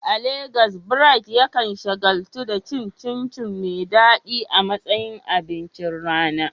A Legas, Bright yakan shagaltu da cin chin chin mai daɗi a matsayin abincin rana.